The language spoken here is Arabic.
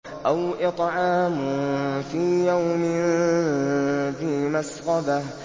أَوْ إِطْعَامٌ فِي يَوْمٍ ذِي مَسْغَبَةٍ